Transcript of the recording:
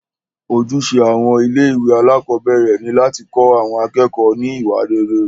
Ojúṣe àwọn ilé ìwé alákọ̀berẹ̀ ni láti kọ́ àwọn akẹ́kọ̀ọ́ ní iwa rere.